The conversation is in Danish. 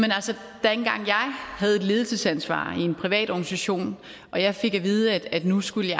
havde et ledelsesansvar i en privat organisation og jeg fik at vide at nu skulle